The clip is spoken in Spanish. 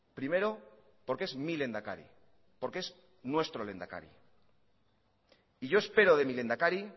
primero porque es mi lehendakari porque es nuestro lehendakari y yo espero de mi lehendakari